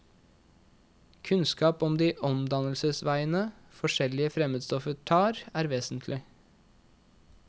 Kunnskap om de omdannelsesveiene forskjellige fremmedstoffer tar, er vesentlig.